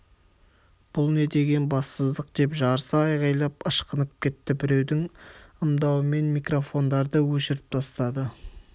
бұл не деген бассыздық деп жарыса айғайлап ышқынып кетті біреудің ымдауымен микрофондарды өшіріп тастады